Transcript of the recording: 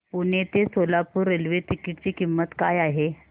पुणे ते Solapur railway ticket ची किंमत काय आहे